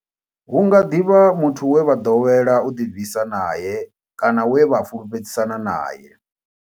Hu nga ḓi vha muthu we vha ḓowela u ḓibvisa nae kana we vha fhulufhedzisana nae.